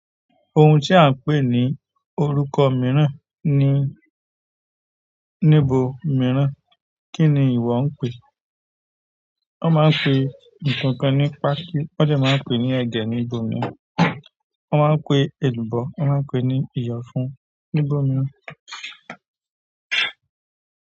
Ohun tí à ń pè ní orúkọ mìíràn ni níbo mìíràn, kí ni ìwọ ń pè é? Wọ́n máa ń pe nkànkàn ní pákì, wọ́n de máa ń pe ní ẹ̀gẹ́ ní bọ̀mì, wọ́n máa ń pe ẹ̀lùbọ́, wọ́n máa ń pe ní ìyánfún ní bọ̀mì.